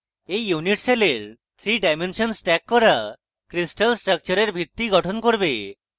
এই unit সেলের 3 ডাইমেনশনে stacking করা crystal স্ট্রাকচারের ভিত্তি গঠন করবে